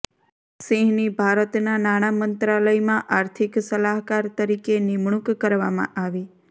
સિંહની ભારતના નાણા મંત્રાલયમાં આર્થિક સલાહકાર તરીકે નિમુણક કરવામાં આવી